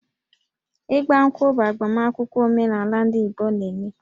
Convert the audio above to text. Ị́gbá ǹkwụ̀ bụ agbamakwụkwọ omenala ndị Igbo na-eme